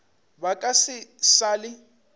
ba ka se sa le